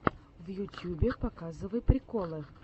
в ютьюбе показывай приколы